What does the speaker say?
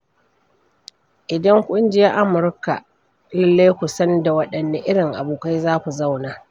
Idan kun je Amurka, lallai ku san da waɗanne irin abokai za ku zauna.